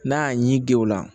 N'a y'a ɲɛ guwewla